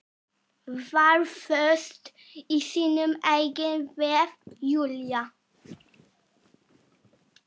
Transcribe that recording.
Var föst í sínum eigin vef, Júlía.